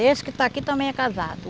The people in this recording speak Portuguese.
Esse que está aqui também é casado.